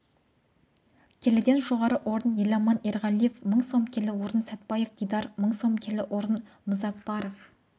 келіден жоғары орын еламан ерғалиев мың сом келі орын сәтбаев дидар мың сом келі орын мұзаппаров